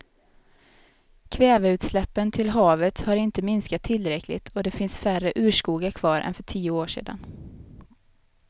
Kväveutsläppen till havet har inte minskat tillräckligt och det finns färre urskogar kvar än för tio år sedan.